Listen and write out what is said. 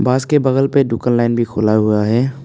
बस के बगल पे ढुकल लाइन भी खुला हुआ है।